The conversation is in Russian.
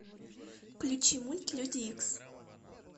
включи мульт люди икс